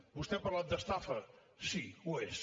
vostè ha parlat d’estafa sí ho és